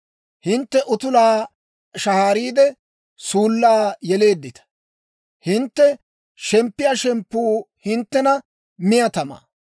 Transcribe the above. Hintte utulaa shahaariide, suullaa yeleeddita. Hintte shemppiyaa shemppuu hinttena miyaa tamaa.